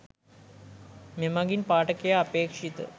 මෙමඟින් පාඨකයා අපේක්‍ෂිත